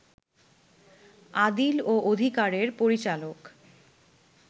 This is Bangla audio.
আদিল ও অধিকারের পরিচালক